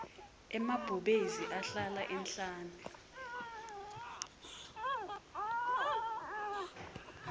emabhubesi ahlala ehhlane